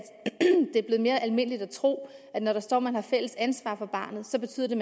det er blevet mere almindeligt at tro at når der står at man har fælles ansvar for barnet så betyder det